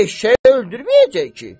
Eşşəyi öldürməyəcək ki.